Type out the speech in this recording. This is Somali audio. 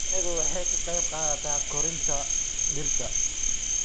Shinnidu waxay ka qayb qaadataa koritaanka dhirta.